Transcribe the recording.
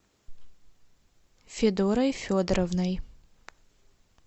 федорой федоровной